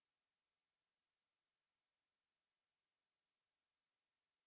नहींउम इससे छुटकारा पाते हैं else से छुटकारा